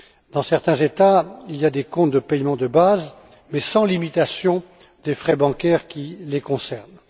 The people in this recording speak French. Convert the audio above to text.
Dans certains États, il existe des comptes de paiement de base sans limitation des frais bancaires qui les concernent.